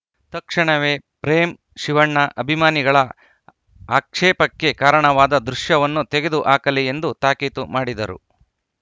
ತಕ್ಷಣವೇ ಪ್ರೇಮ್‌ ಶಿವಣ್ಣ ಅಭಿಮಾನಿಗಳ ಆಕ್ಷೇಪಕ್ಕೆ ಕಾರಣವಾದ ದೃಶ್ಯವನ್ನು ತೆಗೆದು ಹಾಕಲಿ ಎಂದು ತಾಕೀತು ಮಾಡಿದರು